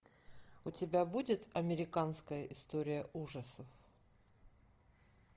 у тебя будет американская история ужасов